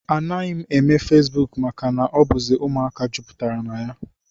Anaghị m eme feesbuk maka na ọ bụzi ụmụaka jupụtara na ya